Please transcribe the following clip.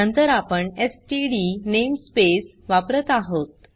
नंतर आपण STD namespace वापरत आहोत